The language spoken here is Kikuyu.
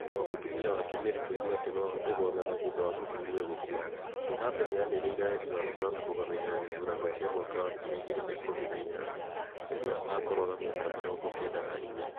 Thutha wa mũtumia wake Mary kũigua atĩ no ahote gwathana thutha wa mũthuuriwe gũkua, Mugabe nĩ anĩrĩire wendi wake wa kũrũgama gĩthurano-inĩ kĩa mwaka wa ngiri igĩrĩ na ikũmi na inyanya 2018 rĩrĩa agakorwo na mĩaka mĩrongo kenda na inya.